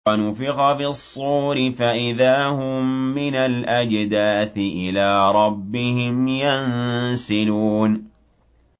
وَنُفِخَ فِي الصُّورِ فَإِذَا هُم مِّنَ الْأَجْدَاثِ إِلَىٰ رَبِّهِمْ يَنسِلُونَ